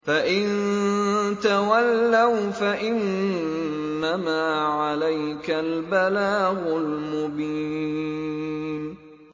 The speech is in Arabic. فَإِن تَوَلَّوْا فَإِنَّمَا عَلَيْكَ الْبَلَاغُ الْمُبِينُ